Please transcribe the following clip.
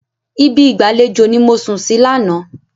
Ibi ìgbàlejò ni mo sùn sí lánàá.